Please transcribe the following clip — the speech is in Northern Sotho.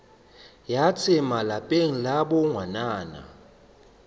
ya tsema lapeng la bongwanana